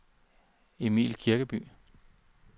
Emil Kirkeby